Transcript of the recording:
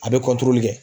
A bɛ kɛ